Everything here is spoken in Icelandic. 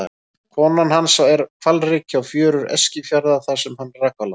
Koma hans er hvalreki á fjörur Eskifjarðar þar sem hann rak á land.